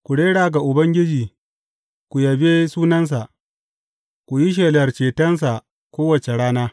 Ku rera ga Ubangiji, ku yabe sunansa; ku yi shelar cetonsa kowace rana.